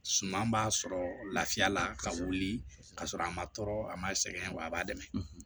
Suma b'a sɔrɔ lafiya la ka wuli ka sɔrɔ a ma tɔɔrɔ a ma sɛgɛn wa a b'a dɛmɛ